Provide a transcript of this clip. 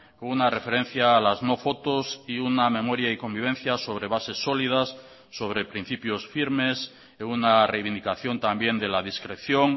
con una referencia a las no fotos y una memoria y convivencia sobre bases sólidas sobre principios firmes en una reivindicación también de la discreción